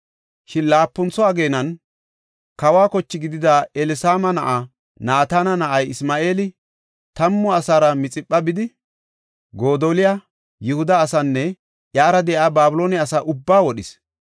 Shin laapuntho ageenan, kawo kochi gidida Elisaama na7aa Naatana na7ay Isma7eeli tammu asara Mixipha bidi, Godoliya, Yihuda asaanne iyara de7iya Babiloone asa ubbaa wodhis.